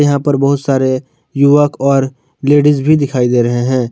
यहां पर बहोत सारे युवक और लेडिस भी दिखाई दे रहे हैं।